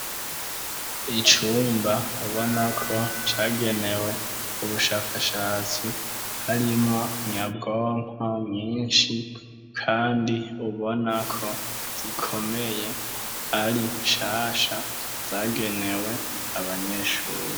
Icumba mubonako cagenewe ubushakashatsi, harimwo nyabwonko nyinshi kandi ubonako zikomeye ari nshasha zagenewe abanyeshure.